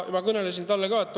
Ma kõnelesin talle paradoksist.